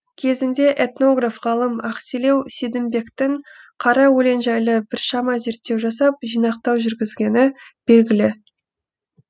кезінде этнограф ғалым ақселеу сейдімбектің қара өлең жайлы біршама зерттеу жасап жинақтау жүргізгені белгілі